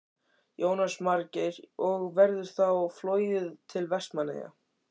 Jónas Margeir: Og verður þá flogið til Vestmannaeyja?